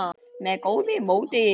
með góðu móti.